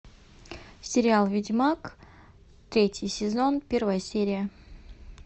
сериал ведьмак третий сезон первая серия